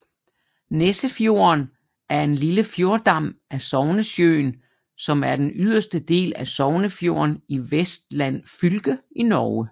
Nessefjorden er en lille fjordarm af Sognesjøen som er den yderste del af Sognefjorden i Vestland fylke i Norge